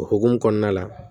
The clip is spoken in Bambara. O hukumu kɔnɔna la